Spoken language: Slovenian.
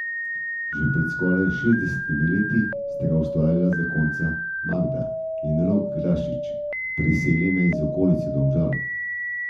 Že pred skoraj šestdesetimi leti sta ga ustvarila zakonca Magda in Rok Grašič, priseljena iz okolice Domžal.